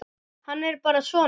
Hann er bara svona.